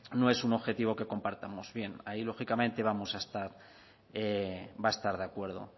no es un objetivo que compartamos bien ahí lógicamente va a estar de acuerdo